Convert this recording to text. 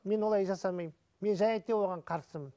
мен олай жасаймын мен және де оған қарсымын